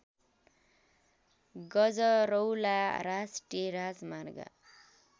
गजरौला राष्ट्रिय राजमार्ग